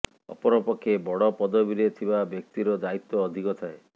ଅପରପକ୍ଷେ ବଡ଼ ପଦବିରେ ଥିବା ବ୍ୟକ୍ତିର ଦାୟିତ୍ୱ ଅଧିକ ଥାଏ